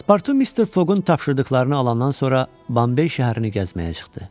Paspartu Mister Foqun tapşırdıqlarını alandan sonra Bombey şəhərini gəzməyə çıxdı.